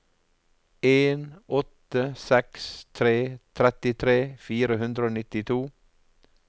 en åtte seks tre trettitre fire hundre og nittito